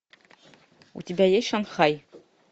у тебя есть шанхай